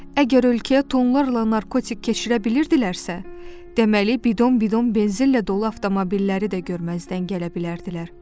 Əgər ölkəyə tonlarla narkotik keçirə bilirdilərsə, deməli, bidon-bidon benzinlə dolu avtomobilləri də görməzdən gələ bilərdilər.